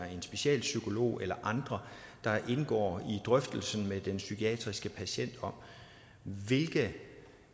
en specialpsykolog eller andre der indgår i drøftelsen med den psykiatriske patient om hvilke